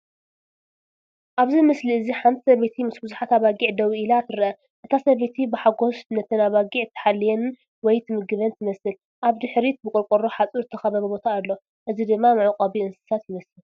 ኣብዚ ምስሊ እዚ ሓንቲ ሰበይቲ ምስ ብዙሓት ኣባጊዕ ደው ኢላ ትርአ። እታ ሰበይቲ ብሓጎስ ነተን ኣባጊዕ ትሓልየን ወይ ትምግበን ትመስል። ኣብ ድሕሪት ብቆርቆሮ ሓጹር ዝተኸበበ ቦታ ኣሎ፣ እዚ ድማ መዕቆቢ እንስሳታት ይመስል።